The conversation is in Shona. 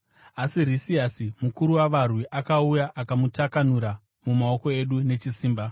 Asi Risiasi mukuru wavarwi akauya akamutakanura mumaoko edu nechisimba.